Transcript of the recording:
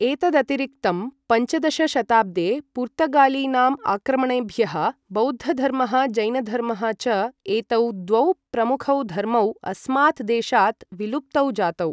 एतदतिरिक्तं पञ्चदश शताब्दे पुर्तगालीनां आक्रमणेभ्यः बौद्धधर्मः जैनधर्मः च एतौ द्वौ प्रमुखौ धर्मौ अस्मात् देशात् विलुप्तौ जातौ।